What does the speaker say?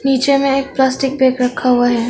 नीचे में एक प्लास्टिक बैग रखा हुआ है।